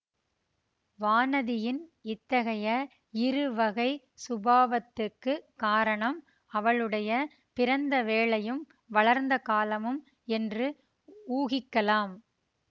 வானதியின் இத்தகைய இருவகைச் சுபாவத்துக்குக் காரணம் அவளுடைய பிறந்த வேளையும் வளர்ந்த காலமும் என்று ஊகிக்கலாம்